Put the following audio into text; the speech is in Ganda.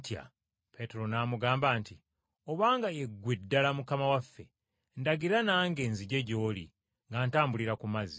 Peetero n’amugamba nti, “Obanga ye ggwe ddala Mukama waffe, ndagira nange nzije gy’oli nga ntambulira ku mazzi.”